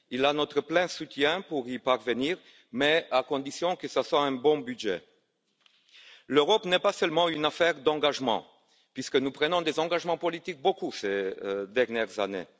Il a notre plein soutien pour y parvenir, mais à condition que ce soit un bon budget. L'Europe n'est pas seulement une affaire d'engagement, puisque nous avons pris beaucoup d'engagements politiques ces dernières années.